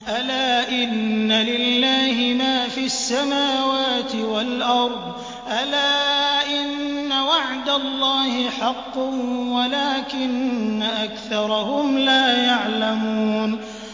أَلَا إِنَّ لِلَّهِ مَا فِي السَّمَاوَاتِ وَالْأَرْضِ ۗ أَلَا إِنَّ وَعْدَ اللَّهِ حَقٌّ وَلَٰكِنَّ أَكْثَرَهُمْ لَا يَعْلَمُونَ